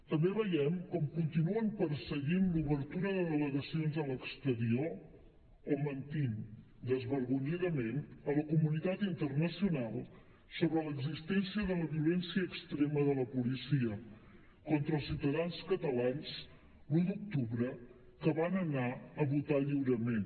també veiem com continuen perseguint l’obertura de delegacions a l’exterior o mentint desvergonyidament a la comunitat internacional sobre l’existència de la violència extrema de la policia contra els ciutadans catalans l’un d’octubre que van anar a votar lliurement